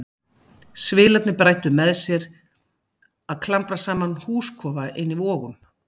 Svilarnir bræddu með sér að klambra saman húskofa inni í Vogum.